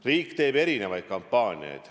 Riik teeb erinevaid kampaaniaid.